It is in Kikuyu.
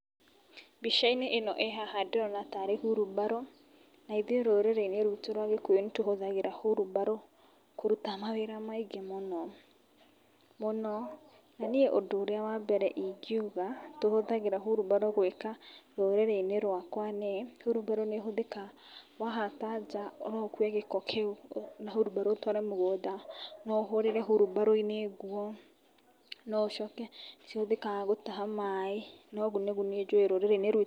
Mbica ĩno ĩhaha ndĩrona tarĩ wheelbarrow , ithuĩ rũrĩrĩ-inĩ rwitũ rwa gĩkũyũ nĩ tũhũthagĩra wheelbarrow kũruta mawĩra maingĩ mũno, mũno, na niĩ ũndũ ũrĩa wa mbere ingĩuga tũhũthagĩra wheelbarrow gwĩka rũrĩrĩ-inĩ rwakwa nĩ wheelbarrow nĩ ĩhũthĩkaga wahata nja no ũkue gĩko kĩu na wheelbarrow ũtware mũgũnda, no ũhũrĩre wheelbarrow -inĩ nguo, no ũcoke nĩ cihũthĩkaga gũtaha maĩ, na ũguo nĩguo njũĩ rũrĩrĩ-inĩ rwitũ.